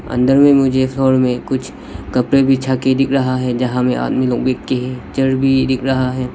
अंदर में मुझे इस हॉल कुछ कपड़े बिछा के दिख रहा है जहां में आदमी लोग बैठ के है चेयर भी दिख रहा है।